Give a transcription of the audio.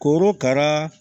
Korokara